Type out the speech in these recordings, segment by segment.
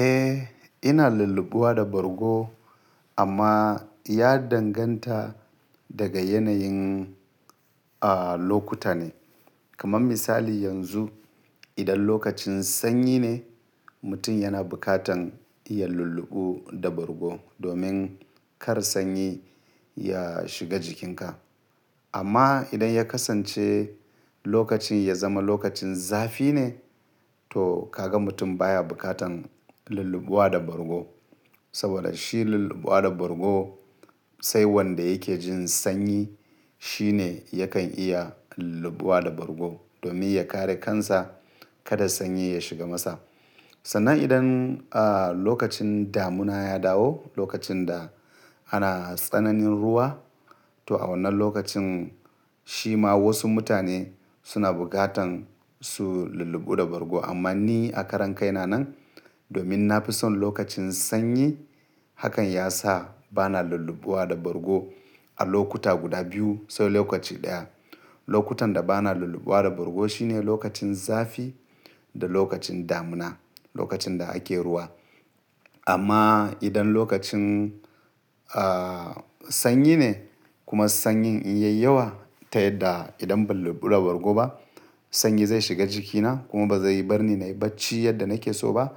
Eh, ina lullubuwa da bargo amma ya danganta daga yanayin, a, lokuta ne. Kaman misali yanzu idan lokacin sanyi ne, mutum yana bukatan iya lulluɓu da bargo domin kar sanyi ya shiga jikinka. Amma idan ya kasance lokacin ya zama lokacin zafi ne, to kaga mutum baya bukatan lullubawa da bargo. Saboda shi lullubuwa da bargo sai wanda yake jin sanyi shine yakan iya lullubawa da bargo domin ya kare kansa kada sanyi ya shiga masa. Sannan idan, a, lokacin damuna ya dawo, lokacin da ana tsananin ruwa to a wannan lokacin shi ma wasu mutane suna bukatan su lulluɓu da bargo. Amma ni a karan kai na nan domin na fi son lokacin sanyi hakan ya sa bana lullubawa da bargo a lokuta guda biyu sai lokaci ɗaya. Lokutan da bana lullubawa da bargo shine lokacin zafi da lokacin damuna, lokacin da ake ruwa. Amma idan lokacin, a, sanyi ne kuma sanyin in ya yi yawa ta yadda idan ban lulluɓu da bargo ba sanyi zai shiga jikina kuma ba zai yi barni na yi bacci yadda nake so ba,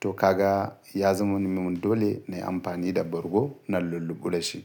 to kaga ya zama mimun dole na yi amfani da bargo na lulluɓu da shi.